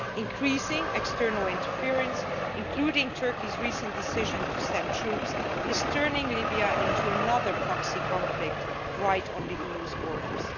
Increasing external interference, including Turkey's recent decision to send troops, is turning Libya into another proxy conflict right on the EU's borders.